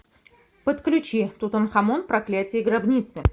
подключи тутанхамон проклятие гробницы